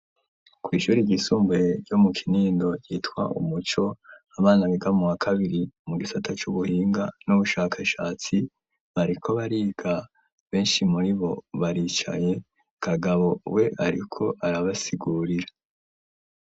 Kwishuri ry'isumbuye yo mu kinindo yitwa Umuco abana bigamwo wa kabiri mu gisata cubuhinga n'ubushakashatsi bariko bariga benshi muri bo baricaye . Kagabo we ariko arabasigurira.